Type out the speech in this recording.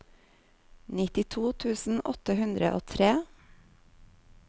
nittito tusen åtte hundre og tre